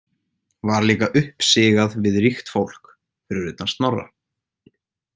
Var líka uppsigað við ríkt fólk, fyrir utan Snorra.